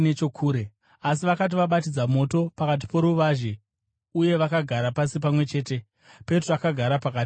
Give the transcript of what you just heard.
Asi vakati vabatidza moto pakati poruvazhe uye vagara pasi pamwe chete, Petro akagara pakati pavo.